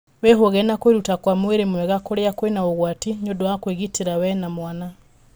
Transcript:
Wĩhũge na kwĩruta kwa mwĩrĩ mwega kũrĩa kwĩna ũgwati nĩũndũ wa kwĩgitĩra we na mwana.